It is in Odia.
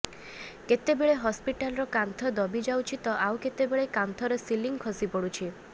କେତେବେଳେ ହସ୍ପିଟାଲର କାନ୍ଥ ଦବି ଯାଉଛି ତ ଆଉ କେତେବେଳ କାନ୍ଥର ସିଲିଂ ଖସିପଡୁଛି